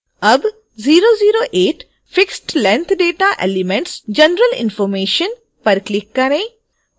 अब 008 fixedlength data elements general information पर click करें